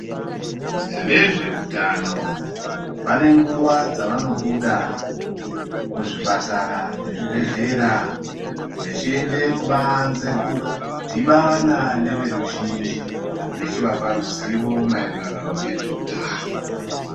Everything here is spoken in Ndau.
Vezveutano, vane nguwa dzavanoda muzvipatara nemuzvibhedhlera, vachiende kubanze kundodhibana neveruzhinji, vachivape ruzivo maererano nezveutano.